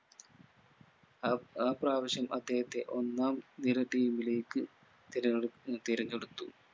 ആ ആ പ്രാവശ്യം അദ്ദേഹത്തെ ഒന്നാം നിര team ലേക്ക് തിരഞ്ഞെടു തിരഞ്ഞെടുത്തു